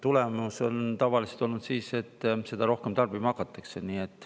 Tulemus on tavaliselt olnud siis, et seda rohkem tarbima hakatakse.